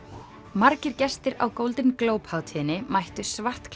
margir gestir á Golden Globe hátíðinni mættu